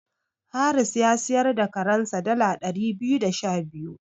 Haris ya siyar da karensa dala ɗari biyu da sha biyu.